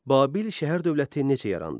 Babil şəhər dövləti necə yarandı?